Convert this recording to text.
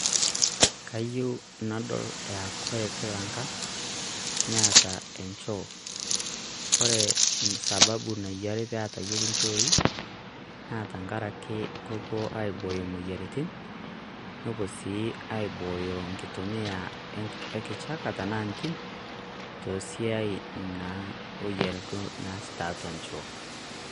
Kayieu nadol aa Kila Engang' Neeta enchoo, naa ore esababui paa ore Kila Engang' Neeta enchoii naa tengaraki kepuo aibooyo imoyiaritin nepuo sii aibooyo enkitumia ekichaka enaa entimin tesiadi naa naasi tiatua enchoo.